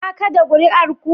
Ka kada kuri'ar ku?